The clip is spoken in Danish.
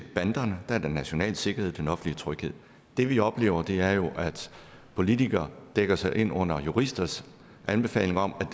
banderne er det national sikkerhed og den offentlige tryghed det vi oplever er jo at politikere dækker sig ind under juristers anbefaling om